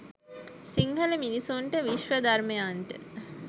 සිංහල මිනිසුන්ට විශ්ව ධර්මයන්ට